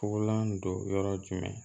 Fugulan don yɔrɔ jumɛn